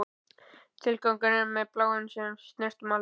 Tilgangur, er það bláminn sem við snertum aldrei?